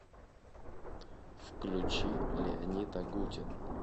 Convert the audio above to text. включи леонид агутин